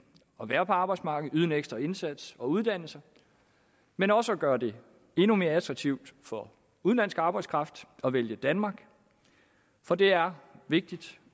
at være på arbejdsmarkedet og yde en ekstra indsats og uddanne sig men også at gøre det endnu mere attraktivt for udenlandsk arbejdskraft at vælge danmark for det er vigtigt